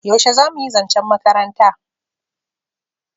yaushe zamuyi zancen makaranta?